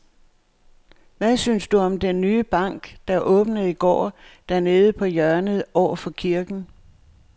Hvad synes du om den nye bank, der åbnede i går dernede på hjørnet over for kirken?